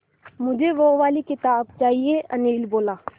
मुझे वो वाली किताब चाहिए अनिल बोला